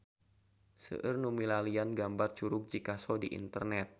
Seueur nu milarian gambar Curug Cikaso di internet